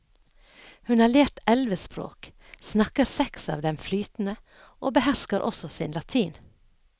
Hun har lært elleve språk, snakker seks av dem flytende og behersker også sin latin.